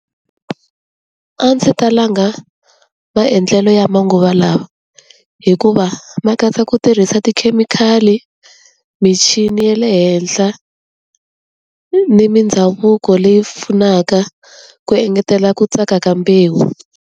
A ndzi ta langa maendlelo ya manguva lawa hikuva ma katsa ku tirhisa tikhemikhali, michini ye le henhla, ni mindhavuko leyi pfunaka ku engetela ku tsaka ka mbewu.